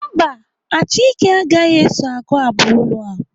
Mba, Achike agaghị eso agụ abụ olu ahụ.